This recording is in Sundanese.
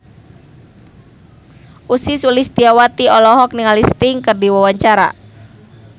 Ussy Sulistyawati olohok ningali Sting keur diwawancara